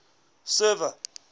server